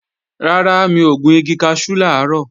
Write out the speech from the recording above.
Rárá, mi ò gun igi kaṣú làárọ̀